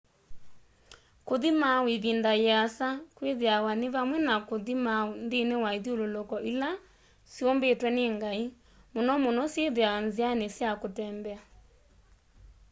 kuthi mauu ivinda iasa kwithiawa ni vamwe na kuthi mauu nthini wa ithyululuko ila syumbitwe ni ngai muno muno syithiawa nziani sya kutembea